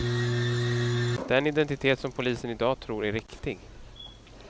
Den identitet som polisen i dag tror är riktig.